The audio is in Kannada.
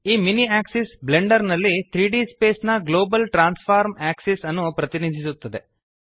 ಈ ಮಿನಿ ಆಕ್ಸಿಸ್ ಬ್ಲೆಂಡರ್ ನಲ್ಲಿ 3ದ್ ಸ್ಪೇಸ್ ನ ಗ್ಲೋಬಲ್ ಟ್ರಾನ್ಸ್ಫಾರ್ಮ್ ಆಕ್ಸಿಸ್ ಅನ್ನು ಪ್ರತಿನಿಧಿಸುತ್ತದೆ